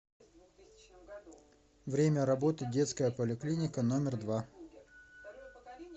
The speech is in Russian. время работы детская поликлиника номер два